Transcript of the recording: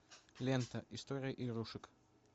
лента история игрушек